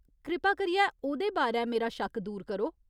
कृपा करियै ओह्‌दे बारै मेरा शक्क दूर करो।